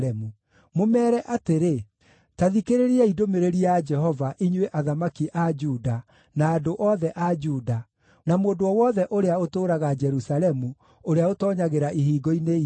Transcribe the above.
Mũmeere atĩrĩ, ‘Ta thikĩrĩriai ndũmĩrĩri ya Jehova, inyuĩ athamaki a Juda, na andũ othe a Juda, na mũndũ o wothe ũrĩa ũtũũraga Jerusalemu, ũrĩa ũtoonyagĩra ihingo-inĩ ici.